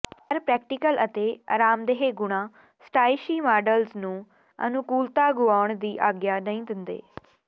ਪਰ ਪ੍ਰੈਕਟੀਕਲ ਅਤੇ ਅਰਾਮਦੇਹ ਗੁਣਾਂ ਸਟਾਇਿਸ਼ੀ ਮਾਡਲਸ ਨੂੰ ਅਨੁਕੂਲਤਾ ਗੁਆਉਣ ਦੀ ਆਗਿਆ ਨਹੀਂ ਦਿੰਦੇ